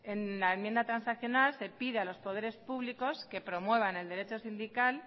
en la enmienda transaccional se pide a los poderes públicos que promuevan el derecho sindical